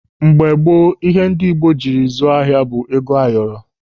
Mgbe gboo ihe ndị Igbo jiri zụọ ahịa bụ ego ayọrọ.